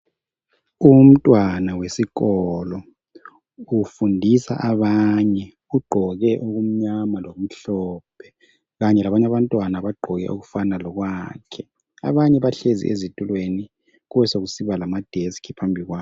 Umntwana wesikolo ufundisa abanye ugqoke okumnyama lokumhlophe kanye labanye abantwana bagqoke okufana lokwakhe abanye bahlezi ezitulweni kube sokusiba lama desk phambi kwabo.